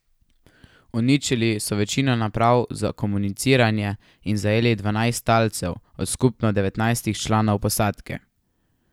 Uničili so večino naprav za komuniciranje in zajeli dvanajst talcev od skupno devetnajstih članov posadke.